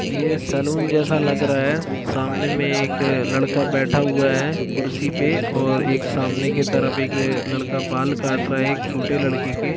ये सलून जैसा लग रहा है सामने में एक लड़का बैठा हुआ है कुर्सी पे और एक सामने की तरफ एक लड़का बाल काट रहा है एक छोटे लड़के के--